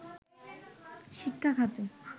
শিক্ষা খাতে